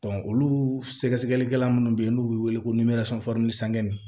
olu sɛgɛsɛgɛlikɛla minnu bɛ yen n'u bɛ wele ko